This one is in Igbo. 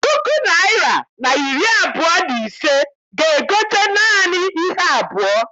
Puku naịra na iri abụọ na ise ga- egote naanị ihe abụọ.